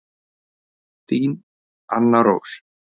Þín Anna Rós.